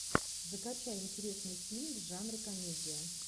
закачай интересный фильм в жанре комедия